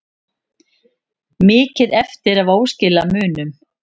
Mikið eftir af óskilamunum